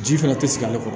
Ji fɛnɛ te sigi ale kɔrɔ